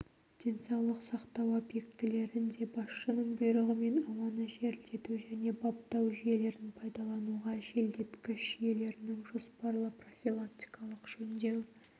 денсаулық сақтау объектілерінде басшының бұйрығымен ауаны желдету және баптау жүйелерін пайдалануға желдеткіш жүйелерінің жоспарлы-профилактикалық жөндеу